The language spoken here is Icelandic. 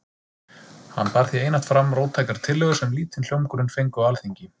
Hann bar því einatt fram róttækar tillögur sem lítinn hljómgrunn fengu á Alþingi.